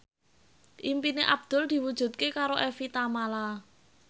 impine Abdul diwujudke karo Evie Tamala